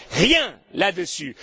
Rien là dessus.